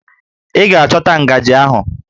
Ị ga-achọta ngajị ahụ!